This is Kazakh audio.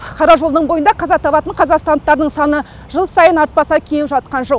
қара жолдың бойында қаза табатын қазақстандықтардың саны жыл сайын артпаса кеміп жатқан жоқ